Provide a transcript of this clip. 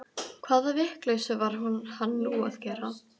Hvaða vitleysu var hann nú að gera?